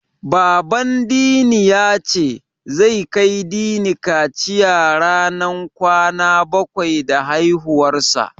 Baban Dini ya ce, zai kai Dini kaciya ranar kwana bakwai da haihuwarsa.